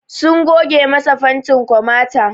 Sun goge masa fantin komata